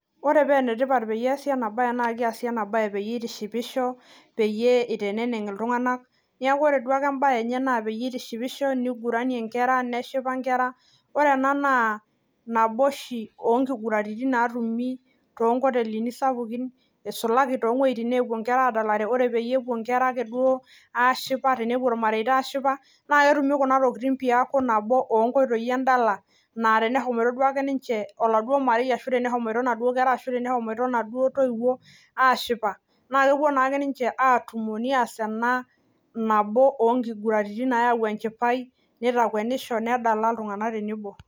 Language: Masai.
Ore penetipat peyie eesi ena baye naa kiasi ena baye peyie itishipisho peyie iteneneng iltung'anak niaku ore duake embaye enye naa peyie itishipisho niguranie neshipa inkera ore ena naa nabo oshi onkiguraritin natumi tonkotelini sapukin isulaki towueitin naapuo inkera adalare ore peyie epuo inkera akeduo inkera akeduo aashipa tenepuo irmareita aashipa naa ketumi kuna tokiting piaku nabo onkoitoi endala naa tenehomoito duake ninche oladuo marei ashu tenehomoito inaduo kera ashu tenehomoito inaduo toiwuo aashipa naa kepuo naake ninche atumo nias ena nabo onkiguraritin nayau enchipai nitakuenisho nedala iltung'anak tenebo.